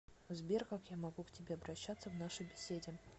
сбер как я могу к тебе обращаться в нашей беседе